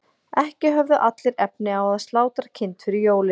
ekki höfðu allir efni á að slátra kind fyrir jólin